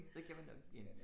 Så kan vi nok igen